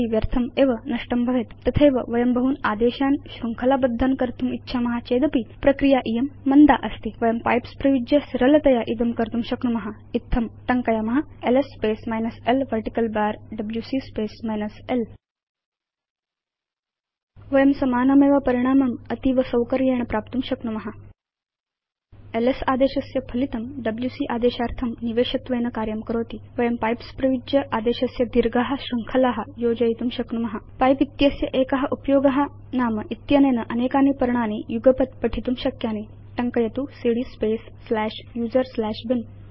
व्यर्थम् एव नष्टं भवेत् तथैव वयं बहून् आदेशान् शृङ्खला बद्धान् कर्तुम् इच्छाम चेदपि प्रक्रिया इयं मन्दा अस्ति वयं पाइप्स उपयुज्य सरलतया इदं कर्तुं शक्नुम इत्थंटङ्कयाम LS space minus l vertical bar WC space minus l वयं समानमेव परिणामम् अतीव सौकर्येण प्राप्तुं शक्नुम एलएस आदेशस्य फलितं डब्ल्यूसी आदेशार्थं निवेशत्वेन कार्यं करोति वयं पाइप्स उपयुज्य आदेशस्य दीर्घा शृङ्खला योजयितुं शक्नुम पिपे इत्यस्य एक उपयोग नाम इत्यनेन अनेकानि पर्णानि युगपत् पठितुं शक्यानि टङ्कयतु cd space slash user slash bin